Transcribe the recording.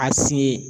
A si ye